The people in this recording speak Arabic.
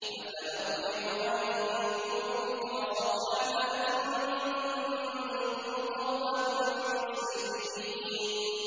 أَفَنَضْرِبُ عَنكُمُ الذِّكْرَ صَفْحًا أَن كُنتُمْ قَوْمًا مُّسْرِفِينَ